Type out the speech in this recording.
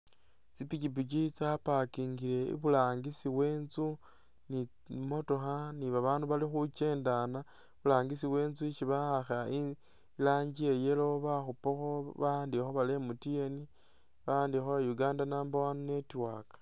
Tsi pikyipikyi tsa packingile iburangisi we itsu ni tsi motokha ni babaandu bali khukyendana iburangisi we itsu isi bawakha iranji iya yellow bakhupakho bawandikhakho bari MTN bawandikhakho bari Uganda number One Network.